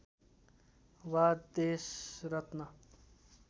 वा देशरत्न